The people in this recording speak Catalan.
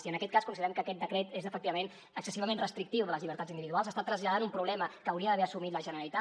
i en aquest cas considerem que aquest decret és efectivament excessivament restrictiu de les llibertats individuals està traslladant un problema que hauria d’haver assumit la generalitat